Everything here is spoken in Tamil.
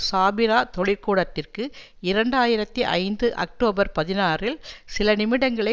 சாபிரா தொழிற்கூடத்திற்கு இரண்டு ஆயிரத்தி ஐந்து அக்டோபர் பதினாறில் சில நிமிடங்களே